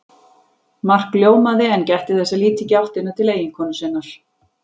Mark ljómaði en gætti þess að líta ekki í áttina til eiginkonu sinnar.